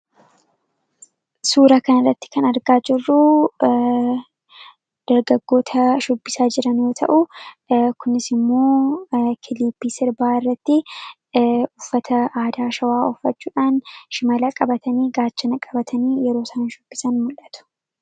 suura kan irratti kan argaa jirruu dargagoota shubbisaa jiranoo ta'u kunisi immoo kiliipii sirbaa irratti uffata aadaashawaa offachuudhaan shimaalaa qabatanii gaachana qabatanii yeroo saan shubbisan mu'atu